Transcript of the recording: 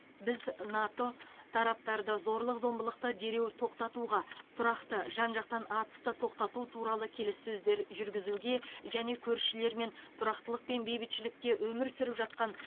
біз нато тараптарды зорлық зомбылықты дереу тоқтатуға тұрақты жан жақтан атысты тоқтату туралы келіссөздер жүргізуге және көршілерімен тұрақтылық пен бейбітшілікте өмір сүріп жатқан